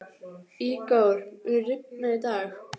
Ígor, mun rigna í dag?